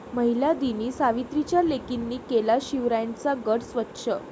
महिला दिनी सावित्रीच्या लेकींनी केला शिवरायांचा गड स्वच्छ